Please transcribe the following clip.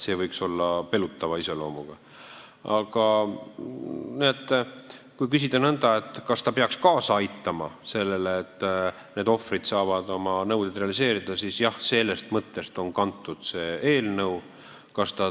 Aga kui küsida nõnda, kas see muudatus peaks kaasa aitama sellele, et ohvrite nõuded saavad realiseeritud, siis jah, sellest mõttest on see eelnõu kantud.